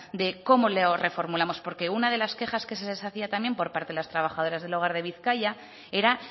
de cómo lo reformulamos porque una de las quejas que se hacía también por parte de las trabajadoras del hogar de bizkaia era